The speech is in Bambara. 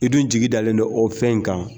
I dun jigidalen bɛ o fɛn in kan.